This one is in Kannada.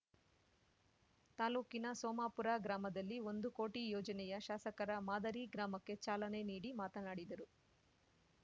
ತಾಲೂಕಿನ ಸೋಮಾಪುರ ಗ್ರಾಮದಲ್ಲಿ ಒಂದು ಕೋಟಿ ಯೋಜನೆಯ ಶಾಸಕರ ಮಾದರಿ ಗ್ರಾಮಕ್ಕೆ ಚಾಲನೆ ನೀಡಿ ಮಾತನಾಡಿದರು